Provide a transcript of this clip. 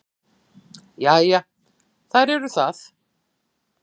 Já, þær eru það.